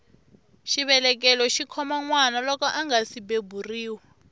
xivelekelo xikhoma nwana loko angasi beburiwa